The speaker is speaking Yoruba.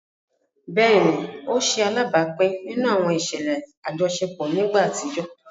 Béèni, o ṣe alábápin nínú àwọn iṣẹlẹ ajọṣepọ ni ìgbà àtijọ